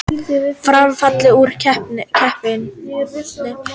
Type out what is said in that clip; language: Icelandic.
Fram fallið úr keppni